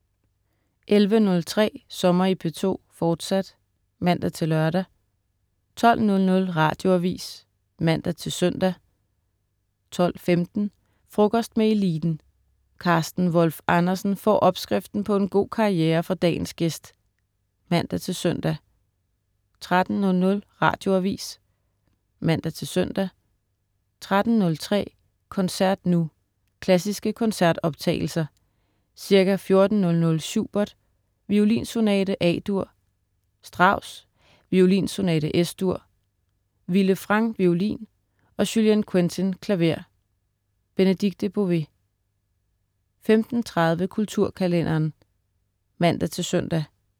11.03 Sommer i P2, fortsat (man-lør) 12.00 Radioavis (man-søn) 12.15 Frokost med eliten. Carsten Wolf Andersen får opskriften på en god karriere fra dagens gæst (man-søn) 13.00 Radioavis (man-søn) 13.03 Koncert nu. Klassiske koncertoptagelser. Ca. 14.00 Schubert: Violinsonate, A-dur. Strauss: Violinsonate, Es-dur. Vilde Frang, violin, og Julien Quentin, klaver. Benedikte Bové 15.30 Kulturkalenderen (man-søn)